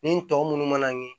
Nin tɔ minnu mana